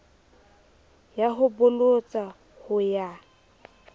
ya ho bolotsa ho ya